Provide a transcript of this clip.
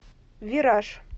вираж